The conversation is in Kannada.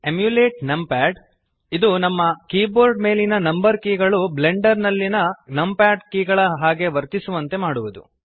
ಎಮ್ಯುಲೇಟ್ ನಂಪಾಡ್ ಇದು ನಿಮ್ಮ ಕೀಬೋರ್ಡ್ ಮೇಲಿನ ನಂಬರ್ ಕೀಗಳು ಬ್ಲೆಂಡರ್ ನಲ್ಲಿಯ ನಂಪ್ಯಾಡ್ ಕೀಗಳ ಹಾಗೆ ವರ್ತಿಸುವಂತೆ ಮಾಡುವುದು